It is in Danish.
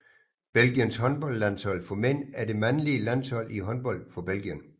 Belgiens håndboldlandshold for mænd er det mandlige landshold i håndbold for Belgien